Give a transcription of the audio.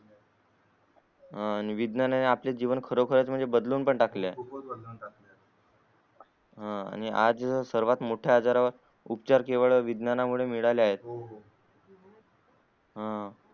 हा विद्यमाने आपले जीवन खरखर बदलून पण टाकेलल आणि आज सर्वात मोट्या आजारांवर उपचार वर केवळ विज्ञानां मुले मिळाले आहे हम्म